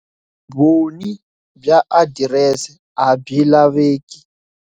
Vumbhoni bya adirese a byi laveki.